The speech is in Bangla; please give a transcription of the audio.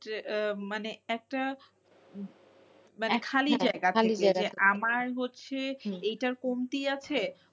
আহ মানে একটা খালি জায়গা থেকে আমার হচ্ছে এইটার কমতি আছে